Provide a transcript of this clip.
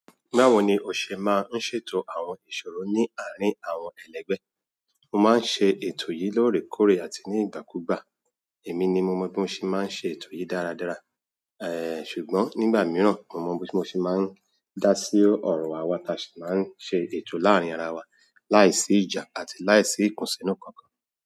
Báwo ni o ṣe máa ń ṣètò àwọn ìṣòro ní àárín àwọn ẹlẹgbẹ́? Mo máa ń ṣe ètò yìí lórèkórè àti ní ìgbàkúgbà. Èmi ní mo mọn bí mo ṣe máa ń ṣe ètò yìí dáradára, ẹẹ̀ ṣùgbọ́n ní ìgbà mìíràn mo mọn bí mo ṣe máa ń dá sí ọ̀rọ̀ àwa tí a sì máa n ṣe ètò láàrin ara wa láì sí ìjà àti láìsí ikùnsínú kankan.